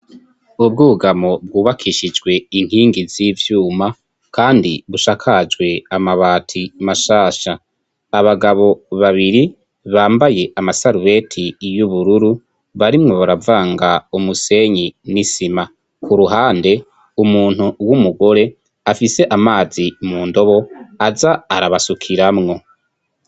Ubwugamo bwubakishijwe inkingi z'ivyuma kandi busakajwe amabati mashasha. Abagabo babiri bambaye amasarubeti y'ubururu barimwo baravanga umusenyi n'isima. ku ruhande umuntu w'umugore afise amazi mu ndobo aza arabasukiramwo.